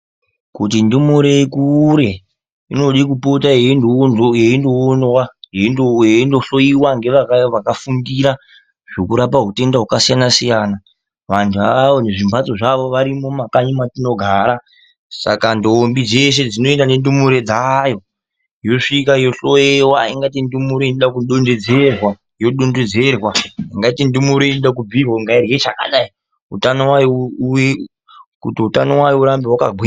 Kuti ndumure ikure inode kupota yeindoonwa, yeindohloyiwa ngevakafundira zvokurapa hutenda hwakasiyana-siyana. Vantu avavo nezvimbatso zvavo varimo mumakanyi matinogara. Saka ndombi dzeshe dzinoenda nendumure dzayo yosvika yohloyiwa. Ingaite ndumure inoda kudondedzerwa, yodondedzerwa, ingaite ndumure inode kubhuirwa kuti ngairye chakadai kuti utano wayo urambe hwakagwinya.